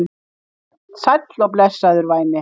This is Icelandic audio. Sæll og blessaður, væni.